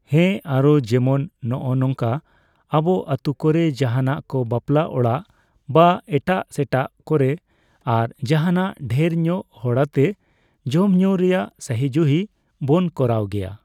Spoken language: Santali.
ᱦᱮᱸ᱾ ᱟᱨᱚ ᱡᱮᱢᱚᱱ ᱱᱚᱜᱼᱚ ᱱᱚᱝᱠᱟ ᱟᱵᱚ ᱟᱹᱛᱩ ᱠᱚᱨᱮ ᱡᱟᱦᱟᱸᱱᱟᱜ ᱠᱚ ᱵᱟᱯᱞᱟ ᱚᱲᱟᱜ, ᱵᱟ ᱮᱴᱟᱜᱼᱥᱮᱴᱟᱜ ᱠᱚᱨᱮ ᱟᱨ ᱡᱟᱦᱟᱸᱱᱟᱜ ᱫᱷᱟᱹᱨ ᱧᱚᱜ ᱦᱚᱲ ᱟᱛᱮ ᱡᱚᱢᱼᱧᱩ ᱨᱮᱭᱟᱜ ᱥᱟᱦᱤᱡᱩᱦᱤ ᱵᱚᱱ ᱠᱚᱨᱟᱣ ᱜᱮᱭᱟ᱾